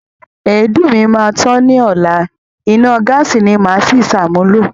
Èédú mi máa tán ni ọla, iná gáàsí ni màá si ṣàmúlò.